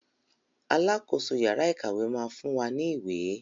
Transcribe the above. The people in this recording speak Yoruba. Alákoso yàrá ìkàwé máa fún wa ní ìwé.